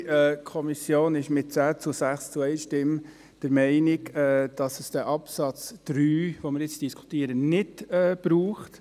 Die Kommission ist mit 10 zu 6 Stimmen zu 1 Stimme der Meinung, dass es den Absatz 3, den wir gerade diskutieren, nicht braucht.